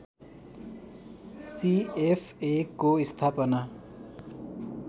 सिएफएको स्थापना